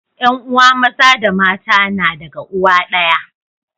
yan uwa Maza da mata na daga uwa daya